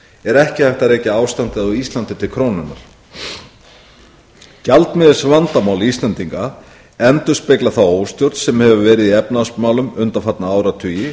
er ekki hægt að rekja ástandið á íslandi til krónunnar gjaldmiðilsvandamál íslendinga endurspegla þá óstjórn sem hefur verið í efnahagsmálum undanfarna áratugi